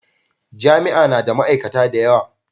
Jami'a na da ma'aikata da yawa.